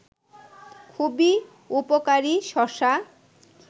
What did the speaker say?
খুবই উপকারী শশা